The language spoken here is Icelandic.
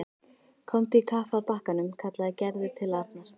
Komdu í kapp að bakkanum kallaði Gerður til Arnar.